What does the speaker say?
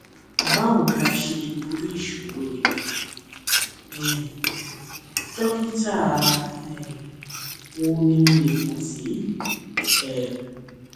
báwo la ṣe lè borí ìṣòro yìí um dókítà um wo ni mo lè kàn sí um